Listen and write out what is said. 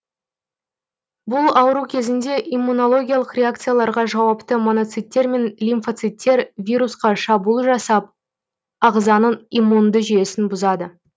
бұл ауру кезінде иммунологиялық реакцияларға жауапты моноциттер мен лимфоциттер вирусқа шабуыл жасап азғаның иммунды жүйесін бұзады